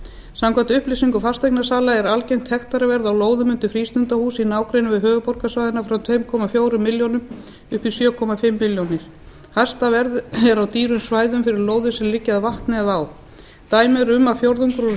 samkvæmt upplýsingum fasteignasala er algengt hektaraverð á lóðum undir frístundahús í nágrenni við höfuðborgarsvæðið allt frá tveimur komma fjórum milljónum upp í sjö og hálfa milljón hæsta verð er á dýrum svæðum fyrir lóðir sem liggja að vatni eða á dæmi eru um að fjórðungur úr